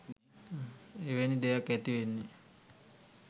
එවැනි දෙයක් ඇතිවෙන්නේ?